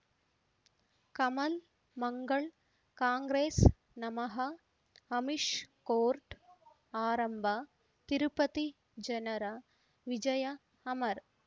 ಕಮಲ್ ಮಂಗಳ್ ಕಾಂಗ್ರೆಸ್ ನಮಃ ಅಮಿಷ್ ಕೋರ್ಟ್ ಆರಂಭ ತಿರುಪತಿ ಜನರ ವಿಜಯ ಅಮರ್